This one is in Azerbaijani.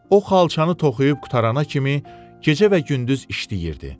O xalçanı toxuyub qurtarana kimi gecə və gündüz işləyirdi.